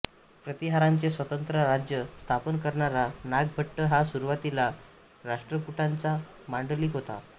प्रतिहारांचे स्वतंत्र राज्य स्थापन करणारा नागभट्ट हा सुरूवातीला राष्ट्रकुटांचा मांडलिक होता